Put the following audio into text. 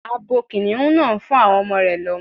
Abo Kìnnìún náà ń fún àwọn ọmọ rẹ̀ lọ́mú.